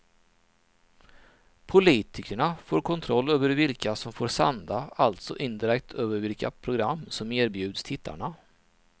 Politikerna får kontroll över vilka som får sända och alltså indirekt över vilka program som erbjuds tittarna.